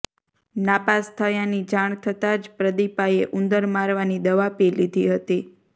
નાપાસ થયાની જાણ થતા જ પ્રદીપાએ ઉંદર મારવાની દવા પી લીધી હતી